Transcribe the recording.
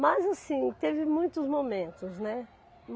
Mas assim, teve muitos momentos, né?